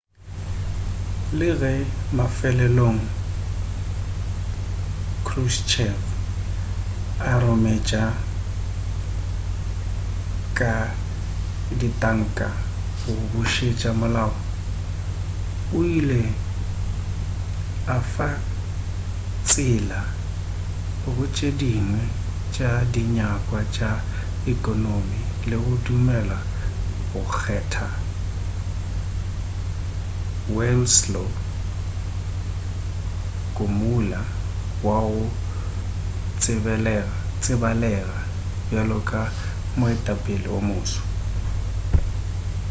le ge mafelelong krushchev a rometša ka ditanka go bošetša molao o ile a fa tsela go tše dingwe tša dinyakwa tša ekonomi le go dumela go kgetha wladyslaw gomulka wa go tsebalega bjalo ka moetapele o moswa